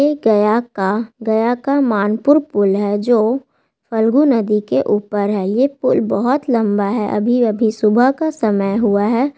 ये गया का गया का मनपुर पूल है जो फल्गु नदी के ऊपर है ये पूल बहुत लंबा हैं अभी-अभी सुबह का समय हुआ हैं ।